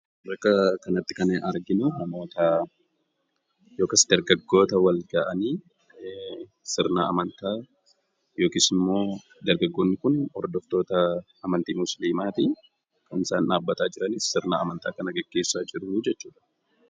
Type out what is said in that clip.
Bakka kanatti kan nuti arginu namoota yookaas dargaggoota wal ga'anii sirna amantaa yookiis immoo dargaggooti kun hordoftoota amantii Muslimaa ti. Kan isaan dhaabbataa jiranis sirna amantaa kana geggeessaa jiru jechuu dha.